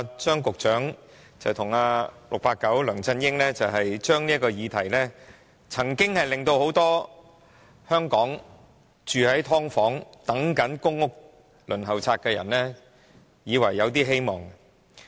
張局長和 "689" 梁振英這些承諾曾令很多香港住在"劏房"、或在公屋輪候冊上等"上樓"的人以為有些希望。